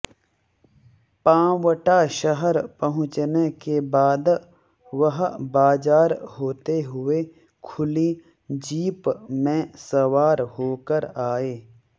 पांवटा शहर पहुंचने के बाद वह बाजार होते हुए खुली जीप में सवार होकर आए